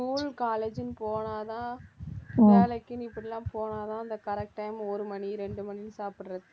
school, college ன்னு போனா தான் வேலைக்குன்னு இப்படி எல்லாம் போனா தான் அந்த correct time ஒரு மணி ரெண்டு மணின்னு சாப்பிடுறது